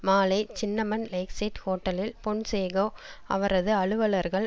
மாலை Cinnamon Lakeside ஹோட்டலில் பொன்சேகொ அவரது அலுவலர்கள்